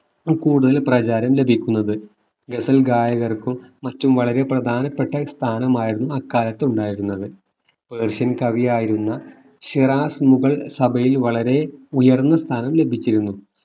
കൂടുതൽ പ്രചാരം ലഭിക്കുന്നത് ഗസൽ ഗായകർക്കും മറ്റും വളരെ പ്രധാനപ്പെട്ട സ്ഥാനമായിരുന്നു അക്കാലത്തു ഉണ്ടായിരുന്നത് പേർഷ്യൻ കവിയായിരുന്ന ശേറാസ്‌ മുഗൾ സഭയിൽ വളരെ ഉയർന്ന സ്ഥാനം ലഭിച്ചിരുന്നു